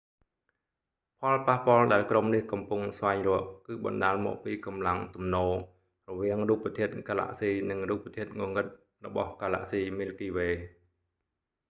ផលប៉ះពាល់ដែលក្រុមនេះកំពុងស្វែងរកគឺបណ្តាលមកពីកម្លាំងទំនោររវាងរូបធាតុកាឡាក់ស៊ីនិងរូបធាតុងងឹតរបស់កាឡាក់ស៊ីមីលគីវេ miky way